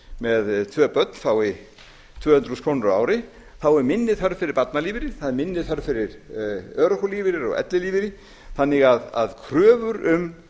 með tvö börn fái tvö hundruð þúsund krónur á ári þá er minni þörf fyrir barnalífeyri það er minni þörf fyrir örorkulífeyri og ellilífeyri þannig að kröfur um